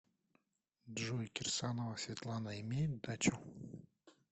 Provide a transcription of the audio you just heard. джой кирсанова светлана имеет дачу